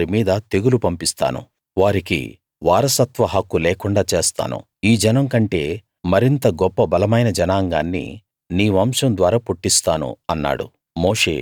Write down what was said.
నేను వారి మీద తెగులుపంపిస్తాను వారికి వారసత్వ హక్కు లేకుండా చేస్తాను ఈ జనం కంటే మరింత గొప్ప బలమైన జనాంగాన్ని నీ వంశం ద్వారా పుట్టిస్తాను అన్నాడు